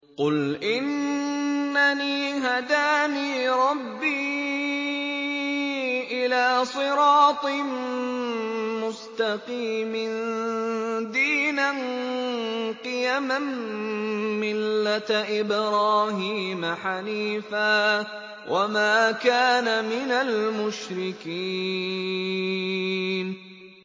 قُلْ إِنَّنِي هَدَانِي رَبِّي إِلَىٰ صِرَاطٍ مُّسْتَقِيمٍ دِينًا قِيَمًا مِّلَّةَ إِبْرَاهِيمَ حَنِيفًا ۚ وَمَا كَانَ مِنَ الْمُشْرِكِينَ